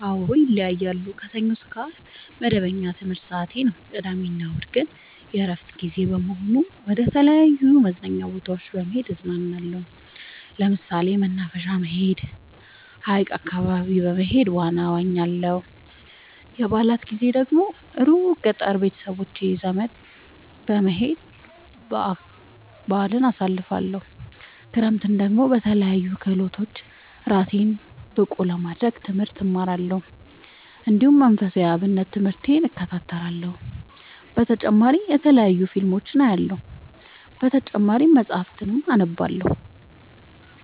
አዎ ይለያያለሉ። ከሰኞ እስከ አርብ መደበኛ የትምህርት ሰዓቴ ነው። ቅዳሜ እና እሁድ ግን የእረፍት ጊዜ በመሆኑ መደተለያዩ መዝናኛ ቦታዎች በመሄድ እዝናናለሁ። ለምሳሌ መናፈሻ በመሄድ። ሀይቅ አካባቢ በመሄድ ዋና እዋኛለሁ። የበአላት ጊዜ ደግሞ እሩቅ ገጠር ቤተሰቦቼ ዘንዳ በመሄድ በአልን አሳልፍለሁ። ክረምትን ደግሞ በለያዩ ክህሎቶች እራሴን ብቀሐ ለማድረግ ትምህርት እማራለሁ። እንዲሁ መንፈሳዊ የአብነት ትምህርቴን እከታተላለሁ። በተጨማሪ የተለያዩ ፊልሞችን አያለሁ። በተጨማሪም መፀሀፍትን አነባለሁ።